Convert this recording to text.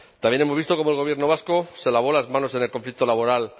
también hemos visto cómo el gobierno vasco se lavó las manos en el conflicto laboral